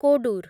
Kodur